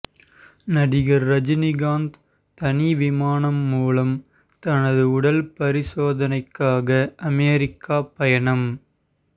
நடிகர் ரஜினிகாந்த் தனி விமானம் மூலம் தனது உடல் பரிசோதனைக்காக அமெரிக்கா பயணம்